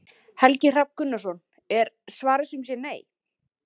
Helgi Hrafn Gunnarsson: Er svarið sum sé nei?